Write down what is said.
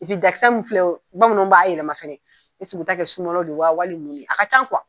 Epi dakisɛ min filɛ bamananw b'a yɛlɛma fɛnɛ eseke u t'a kɛ sumala de ye walima mun ne a ka can